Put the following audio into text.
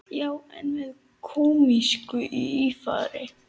Já, en með kómísku ívafi.